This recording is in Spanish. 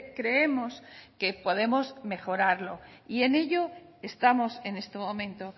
creemos que podemos mejorarlo y en ello estamos en este momento